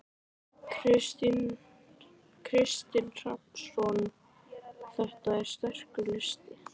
Kristinn Hrafnsson: Þetta er sterkur listi?